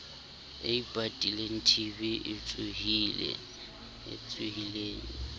e ipatileng tb e tsohileng